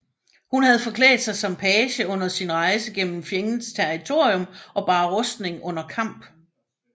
Hun havde forklædt sig som page under sin rejse gennem fjendens territorium og bar rustning under kamp